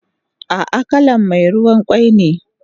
Ah ah kalan me ruwan kwai ne